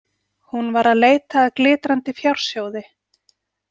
Hún var að leita að glitrandi fjársjóði.